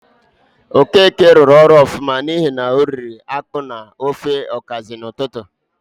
Okeke rụrụ ọrụ ọfụma n'ihi na oriri ákpú na ofe ọkazị n'ụtụtụ.